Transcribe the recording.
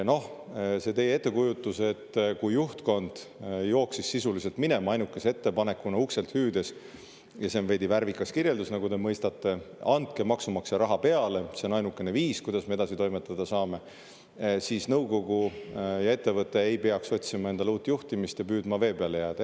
Noh, see on teie ettekujutus, et kui juhtkond jooksis sisuliselt minema, ainukese ettepanekuna ukselt hüüdes – see on veidi värvikas kirjeldus, nagu te mõistate –, et andke maksumaksja raha peale, see on ainukene viis, kuidas me edasi toimetada saame, siis nõukogu ja ettevõte ei peaks otsima endale uut juhtimist ja püüdma vee peale jääda.